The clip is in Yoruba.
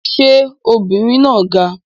Ṣé obìnrin náà ga?